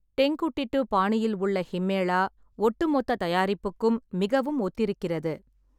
டெங்குட்டிட்டு பாணியில் உள்ள ஹிம்மேளா ஒட்டுமொத்த தயாரிப்புக்கும் மிகவும் ஒத்திருக்கிறது.